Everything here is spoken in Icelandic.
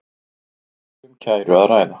Ekki um kæru að ræða